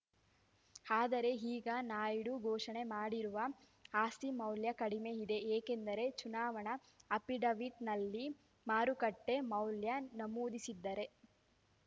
ಆದರೆ ಈಗ ನಾಯ್ಡು ಘೋಷಣೆ ಮಾಡಿರುವ ಆಸ್ತಿ ಮೌಲ್ಯ ಕಡಿಮೆ ಇದೆ ಏಕೆಂದರೆ ಚುನಾವಣಾ ಅಫಿಡವಿಟ್‌ನಲ್ಲಿ ಮಾರುಕಟ್ಟೆಮೌಲ್ಯ ನಮೂದಿಸಿದ್ದರೆ